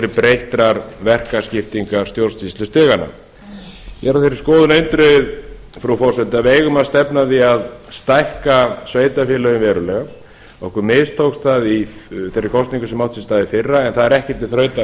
breyttrar verkaskiptingar stjórnsýslustiganna ég er á þeirri skoðun eindregið frú forseti að við eigum að stefna að því að stækka sveitarfélögin verulega okkur mistókst það í þeirri kosningu sem átti sér stað í fyrra en það er ekki til þrautar